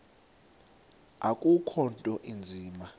akukho nto inzima